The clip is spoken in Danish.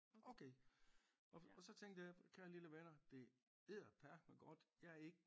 Okay og så tænkte jeg kære lille venner det er edderperkme godt jeg ikke